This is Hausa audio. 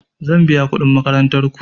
Zan biya kuɗin makarantar ku.